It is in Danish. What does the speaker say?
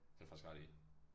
Det har du faktisk ret i